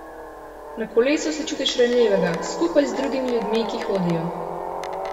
Na kolesu se čutiš ranljivega, skupaj z drugimi ljudmi, ki hodijo.